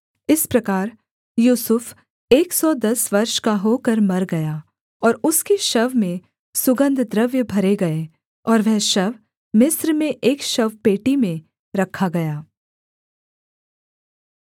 इस प्रकार यूसुफ एक सौ दस वर्ष का होकर मर गया और उसकी शव में सुगन्धद्रव्य भरे गए और वह शव मिस्र में एक शवपेटी में रखा गया